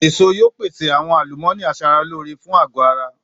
Èso yóò pèsè àwọn àlùmọ́ọ́nì aṣaralóore fún àgọ́ ara